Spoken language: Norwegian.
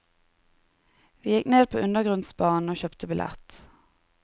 Vi gikk ned på undergrunnsbanen og kjøpte billett.